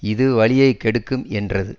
இது வலியை கெடுக்கும் என்றது